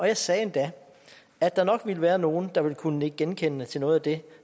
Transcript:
jeg sagde endda at der nok ville være nogle der ville kunne nikke genkendende til noget af det